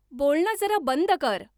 बोलणं जरा बंद कर